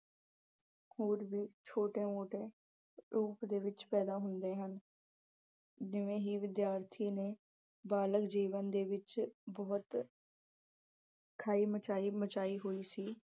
ਹੋਰ ਵੀ ਛੋਟੇ-ਮੋਟੇ proof ਦੇ ਵਿੱਚ ਪੈਦਾਂ ਹੁੰਦੇ ਹਨ ਜਿਵੇਂ ਹੀ ਵਿਦਿਆਰਥੀ ਨੇ ਬਾਲਗ ਜੀਵਨ ਦੇ ਵਿੱਚ ਬਹੁਤ ਖਾਈ ਮਚਾਈ ਅਹ ਮਚਾਈ ਹੋਈ ਸੀ।